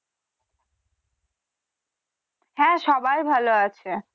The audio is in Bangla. হ্যা সবাই ভালো আছে।